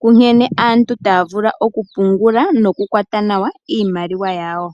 ku nkene aantu taya vulu okupungula nokukwata nawa iimaliwa yawo.